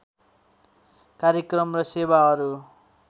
कार्यक्रम र सेवाहरू